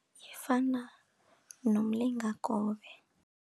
Ifana nomlingakobe.